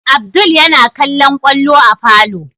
Abdul yana kallon kwallo a falo